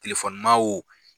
Telefonima o